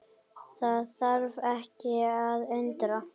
Það þarf ekki að undra.